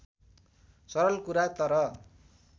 सरल कुरा तर